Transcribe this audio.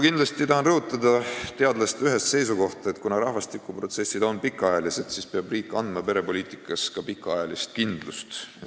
Ma tahan rõhutada teadlaste ühest seisukohta, et kuna rahvastikuprotsessid on pikaajalised, peab riik andma ka perepoliitikas pikaajalist kindlust.